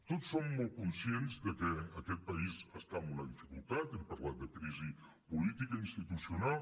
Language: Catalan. tots som molt conscients de que aquest país està en una dificultat hem parlat de crisi política institucional